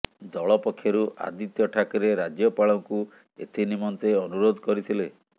ଦଳ ପକ୍ଷରୁ ଆଦିତ୍ୟ ଠାକରେ ରାଜ୍ୟପାଳଙ୍କୁ ଏଥି ନିମନ୍ତେ ଅନୁରୋଧ କରିଥିଲେ